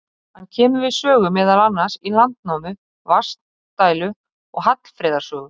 Hann kemur við sögu meðal annars í Landnámu, Vatnsdælu og Hallfreðar sögu.